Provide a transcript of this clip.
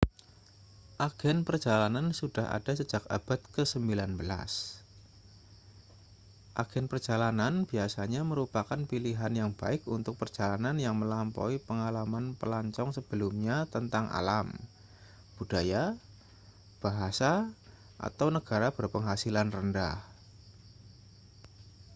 agen perjalanan sudah ada sejak abad ke-19 agen perjalanan biasanya merupakan pilihan yang baik untuk perjalanan yang melampaui pengalaman pelancong sebelumnya tentang alam budaya bahasa atau negara berpenghasilan rendah